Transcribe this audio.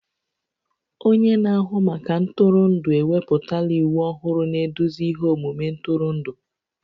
Onye na-ahụ maka ntụrụndụ ewepụtala iwu ọhụrụ na-eduzi ihe omume ntụrụndụ